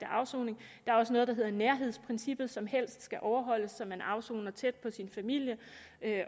afsoning der er også noget der hedder nærhedsprincippet som helst skal overholdes så man afsoner tæt på sin familie